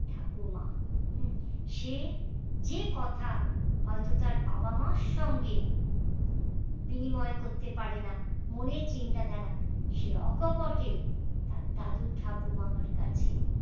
ঠাকুমা সে যে কথা হয়তো তার বাবা মার সঙ্গে বিনিময় করতে পারে না মনের চিন্তা ধারা সে অক্ষ বটে তার দাদু ঠাকুমার কাছে